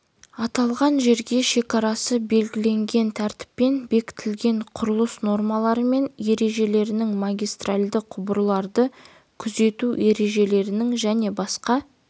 аталған жерге шекарасы белгіленген тәртіппен бекітілген құрылыс нормалары мен ережелерінің магистральды құбырларды күзету ережелерінің және басқа